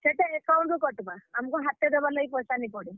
ସେଟା account ରୁ କଟ୍ ବା। ଆମ୍ କୁ ହାତେ ଦେବାର୍ ଲାଗି ପଏଶା ନି ପଡେ।